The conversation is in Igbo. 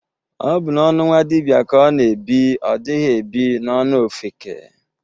Ọ bụ n'ọnụ nwadibia ka ọ na-ebi, ọ dighi ebi n'ọnụ ofeke.